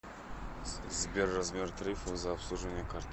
сбер размер тарифов за обслуживание карты